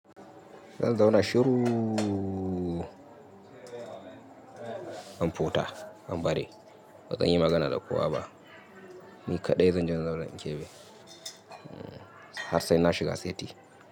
Zan zauna shuruuu, in futa, in bari. Bazanyi magana da kowaba. Ni kaɗai zanje in zauna in kebe har saina shiga seti.